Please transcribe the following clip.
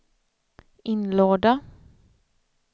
inlåda